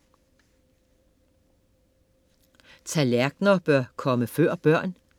Tallerkener bør komme før børn?